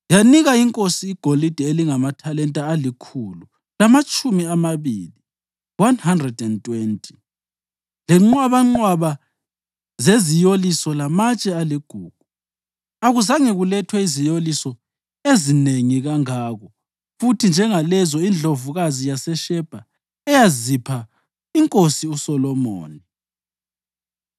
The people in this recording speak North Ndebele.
Yanika inkosi igolide elingamathalenta alikhulu lamatshumi amabili (120), lenqwabanqwaba zeziyoliso lamatshe aligugu. Akuzange kulethwe iziyoliso ezinengi kangako futhi njengalezo indlovukazi yaseShebha eyazipha iNkosi uSolomoni.